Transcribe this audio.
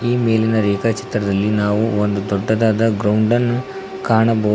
ಈ ಮೇಲಿನ ರೇಖಾಚಿತ್ರದಲ್ಲಿ ನಾವು ಒಂದು ದೊಡ್ಡದಾದ ಗ್ರೌಂಡನ್ನು ಕಾಣಬೋದು.